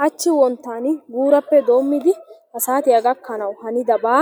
Hachchi wonttan guurappe doommidi ha saatiya gakkanaw hanidaabaa